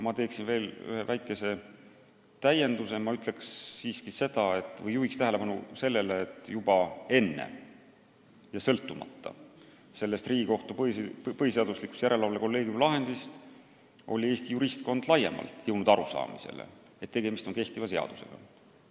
Ma teeksin aga veel ühe väikese täienduse: juhin tähelepanu sellele, et juba enne seda Riigikohtu põhiseaduslikkuse järelevalve kolleegiumi lahendit oli Eesti juristkond laiemalt jõudnud arusaamisele, et tegemist on kehtiva seadusega.